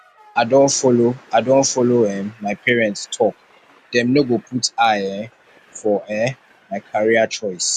i don folo i don folo um my parents tok dem no go put eye um for um my career choice